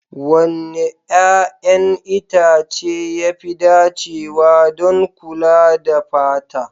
Wanne 'ƴa'ƴan itace ya fi dacewa don kula da fata?